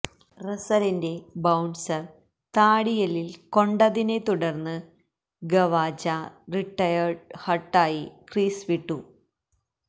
റസലിൻ്റെ bouncer താടിയെല്ലിൽ കൊണ്ടതിനെത്തുടർന്ന് Khawaja retired ഹർട്ടായി ക്രീസ് വിട്ടു